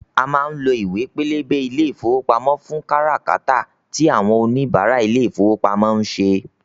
A má ń lo ìwé pélébé ilé ìfowópamọ́ fún kára kátà tí àwọn òníbarà ilé ìfowópamọ́ ń ṣe